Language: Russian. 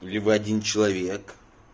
либо один человек